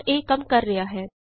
ਹਾਂ ਇਹ ਕੰਮ ਕਰ ਰਿਹਾ ਹੈ